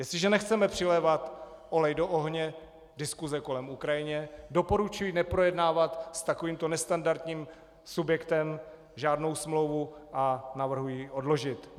Jestliže nechceme přilévat olej do ohně diskuse kolem Ukrajiny, doporučuji neprojednávat s takovýmto nestandardním subjektem žádnou smlouvu a navrhuji ji odložit.